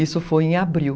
Isso foi em abril.